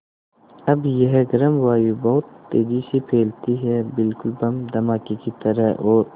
अब यह गर्म वायु बहुत तेज़ी से फैलती है बिल्कुल बम के धमाके की तरह और